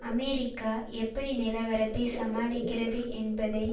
America எப்படி நிலவரத்தை சமாளிக்கிறது என்பதை